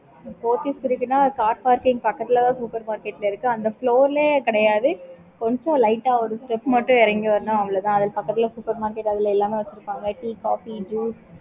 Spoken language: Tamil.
okay car parking பக்கத்துல தான் super market இருக்கு அந்த